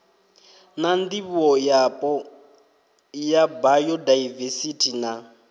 na ndivhoyapo ya bayodaivesithi na